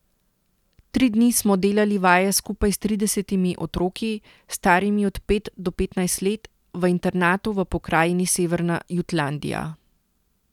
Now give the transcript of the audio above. Tri dni smo delali vaje skupaj s tridesetimi otroki, starimi od pet do petnajst let, v internatu v pokrajini Severna Jutlandija.